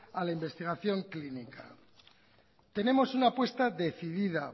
a la investigación clínica tenemos una apuesta decidida